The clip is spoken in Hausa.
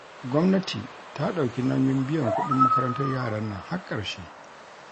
Gwamnati ta dauki nauyin biyan kudin makarantar yaran nan har karshe